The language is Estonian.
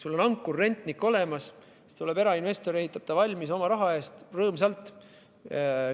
Sul on ankurrentnik olemas, tuleb erainvestor, kes ehitab hoone oma raha eest rõõmsalt valmis.